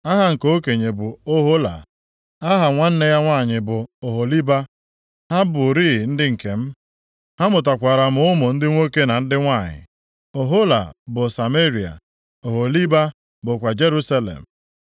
Aha nke okenye bụ Ohola. Aha nwanne ya nwanyị bụ Oholiba. Ha bụrịị nkem, ha mụtakwara m ụmụ ndị nwoke na ndị nwanyị. Ohola bụ Sameria, Oholiba bụkwa Jerusalem.